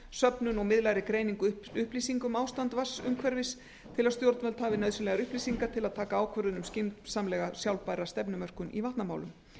söfnun úr miðlægri greiningu upplýsinga um ástands vatnsumhverfis til að stjórnvöld hafi nauðsynlegar upplýsingar til að taka ákvörðun um skynsamlega sjálfbæra stefnumörkun í vatnamálum